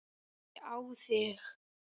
Ég á þig.